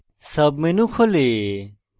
submenu খোলে